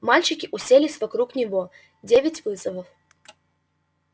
мальчики уселись вокруг него девять вызовов